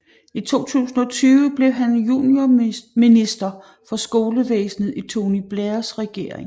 I 2002 blev han juniorminister for skolevæsenet i Tony Blairs regering